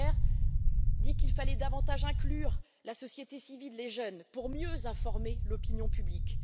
Ferber, qu'il fallait davantage inclure la société civile, les jeunes, pour mieux informer l'opinion publique.